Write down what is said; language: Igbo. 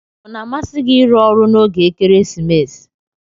Ona amsi gi irụ ọrụ na oge ekeresimesi?